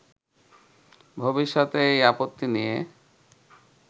ভবিষ্যতে এই আপত্তি নিয়ে